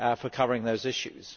covering those issues.